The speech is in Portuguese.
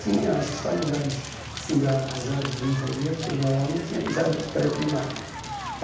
Tinha, acho que só em lugares assim da dos jardins aí devia ter, mas lá não tinha ja pré-primário.